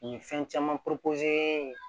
U ye fɛn caman ye